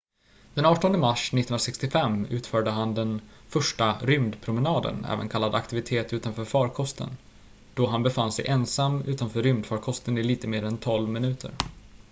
"den 18 mars 1965 utförde han den första "rymdpromenaden" även kallat aktivitet utanför fakosten då han befann sig ensam utanför rymdfarkosten i lite mer än tolv minuter.